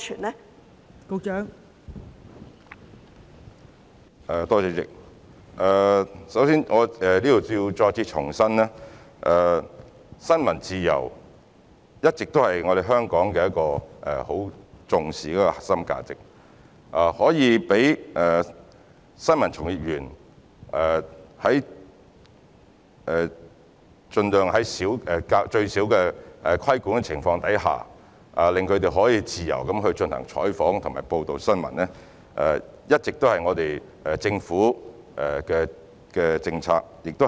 代理主席，首先，我想在此再次重申，新聞自由一直是香港很重視的核心價值，讓新聞從業員盡量在最少的規管下自由進行採訪和報道新聞，一向是政府的政策方針。